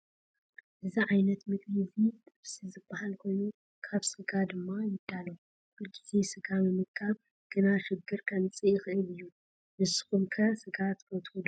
እዚ ዓይነት ምግቢ እዚ ጥብሲ ዝበሃል ኮይኑ ካብ ስጋ ድማ ይዳሎ። ኩሉ ግዜ ስጋ ምምጋብ ግና ሽግር ከምፅእ ይክእል እዩ። ንድኩም ከ ስጋ ትፈትው ዶ ?